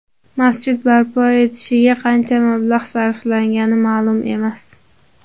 Masjid barpo etilishiga qancha mablag‘ sarflangani ma’lum emas.